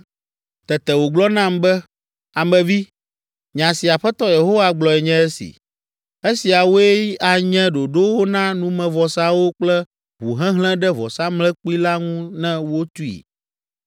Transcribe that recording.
Tete wògblɔ nam be, “Ame vi, nya si Aƒetɔ Yehowa gblɔe nye esi: ‘Esiawoe anye ɖoɖowo na numevɔsawo kple ʋuhehlẽ ɖe vɔsamlekpui la ŋu ne wotui.